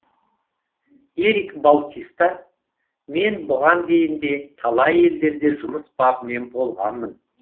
эрик баутиста мен бұған дейін де талай елдерде жұмыс бабымен болғанмын